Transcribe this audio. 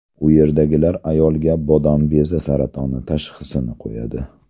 U yerdagilar ayolga bodom bezi saratoni tashxisini qo‘yadi.